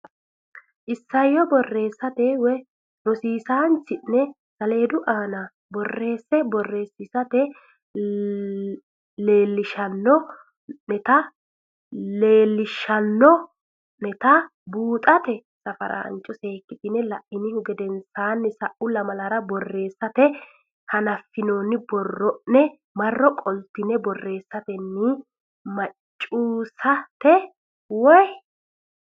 Isayyo Borreessa Rosiisaanchi o ne saleedu aana borreesse borreessite leellishanno neta leellishshanno neta buuxote safaraano seekkitine la ini gedensaanni sa u lamalara borreessate hanaffini borro ne marro qoltine borreessatenni muccisate woy.